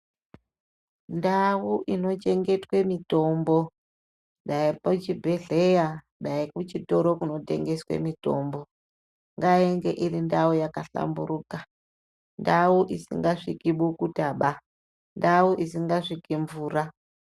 Ndau inochengetwe mitombo dai pachibhedhleya dai kuchitoro kunotengeswe mitombo ngainge iri ndau yakahlamburuka ndau isingasviki bukutaba ndau isingasviki mvura